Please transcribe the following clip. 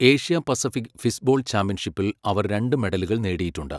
Asia Pacific fistball ചാമ്പ്യൻഷിപ്പിൽ അവർ രണ്ട് മെഡലുകൾ നേടിയിട്ടുണ്ട്.